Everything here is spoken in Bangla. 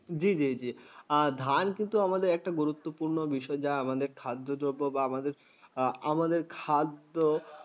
জ্বি, ধান কিন্তু একটা গুরুত্বপূর্ণ বিষয় যা আমাদের খাদ্যদ্রব্য বা আমাদের খাদ্য